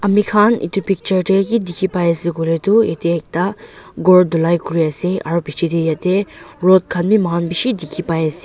mikhan itu picture tey ki dikhi pai ase kuile tu yetey ekta ghor dhulai kuri ase aro pichetey yatey rod khan bi muihan bishi dikhi pai ase.